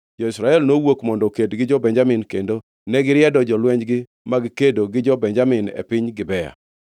Jo-Israel nowuok mondo oked gi jo-Benjamin kendo negiriedo jolwenjgi mag kedo gi jo-Benjamin e piny Gibea.